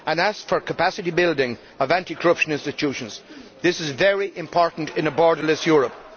It asks for capacity building of anti corruption institutions, which is very important in a borderless Europe.